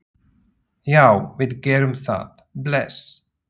Já, við gerum það. Bless.